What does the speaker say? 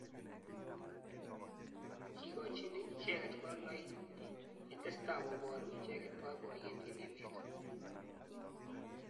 kikochin icheket konunoik ye tesetai koburu icheket boiboyet eng emet